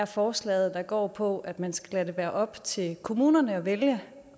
forslaget der går på at man skal lade det være op til kommunerne at vælge